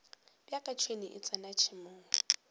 bjaka tšhwene e tsena tšhemong